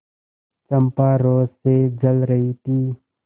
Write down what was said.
चंपा रोष से जल रही थी